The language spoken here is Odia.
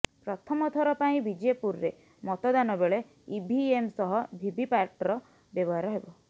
ପ୍ରଥମଥର ପାଇଁ ବିଜେପୁରରେ ମତଦାନ ବେଳେ ଇଭିଏମ୍ ସହ ଭିଭିପାଟର ବ୍ୟବହାର ହେବ